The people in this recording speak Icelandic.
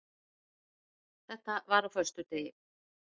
Þetta var á föstudegi.